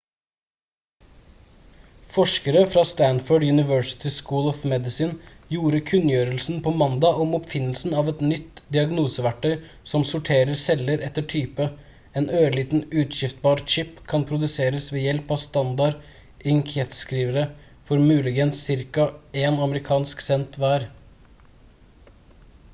forskere fra stanford university school of medicine gjorde kunngjørelsen på mandag om oppfinnelsen av et nytt diagnoseverktøy som sorterer celler etter type en ørliten utskrivbar chip kan produseres ved hjelp av standard inkjettskrivere for muligens ca én amerikansk cent hver